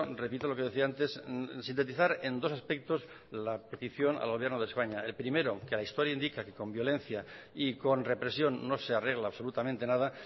repito lo que decía antes sintetizar en dos aspectos la petición al gobierno de españa el primero que la historia indica que con violencia y con represión no se arregla absolutamente nada